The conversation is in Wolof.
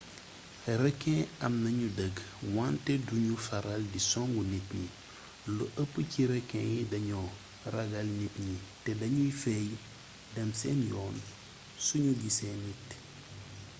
rekin am nañu dëgg wante du ñu faral di songu nit ñi lu ëpp ci rekin yi dañoo ragal nit ñi te danuy feey dem seen yoon suñu gisee nit